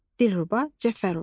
Dilruba Cəfərova.